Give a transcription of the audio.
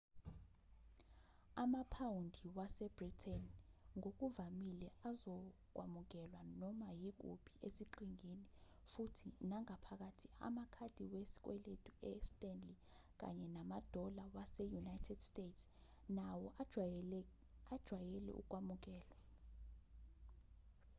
amaphawundi wase-britain ngokuvamile azokwamukelwa noma yikuphi eziqhingini futhi nangaphakathi amakhadi wesikweletu e-stanley kanye namadola ase-united states nawo ajwayele ukwamukelwa